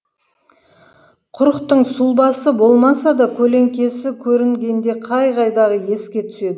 құрықтың сұлбасы болмаса да көлеңкесі көрінгенде қай қайдағы еске түседі